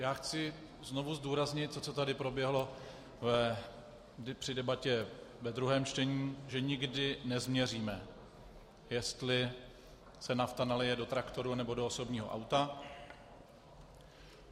Já chci znovu zdůraznit to, co tady proběhlo při debatě ve druhém čtení, že nikdy nezměříme, jestli se nafta nalije do traktoru, nebo do osobního auta.